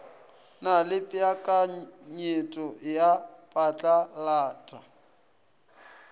na le peakanyeto ya phatlalata